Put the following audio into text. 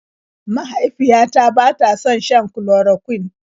Mahaifiyata bata son shan chloroquine.